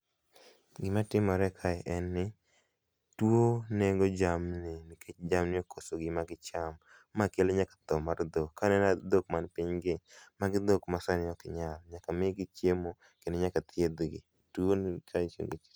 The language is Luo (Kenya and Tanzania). Gima timore kae en ni tuo nego jamni nikech jamni okoso gima gicham, ma kelo nyaka tho mag dhok. Kaneno dhok man piny gi, magi dhok masani ok nyal, nyaka migi chiemo kendo nyaka thiedhgi. Tuo ni